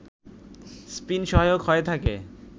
spin সহায়ক হয়ে থাকে